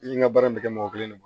I n ka baara in bɛ kɛ mɔgɔ kelen de ma